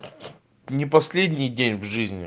не последний день в жизни